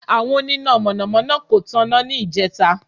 Àwọn oníná Mọ̀nà mọ́ná kò tan iná níjẹta